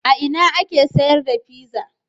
A ina ake sayar da pizza?